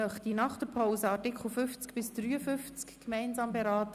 Nach der Pause möchte ich die Artikel 50 bis 53 gemeinsam beraten.